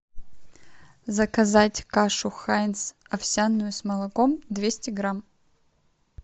заказать кашу хайнц овсяную с молоком двести грамм